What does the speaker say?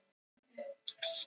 Bogi, hvaða vikudagur er í dag?